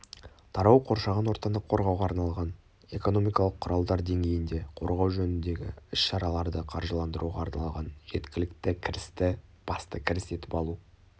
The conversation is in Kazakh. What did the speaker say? тарау қоршаған ортаны қорғауға арналған экономикалық құралдар деңгейінде қорғау жөніндегі іс-шараларды қаржыландыруға арналған жеткілікті кірісті басты кіріс етіп алу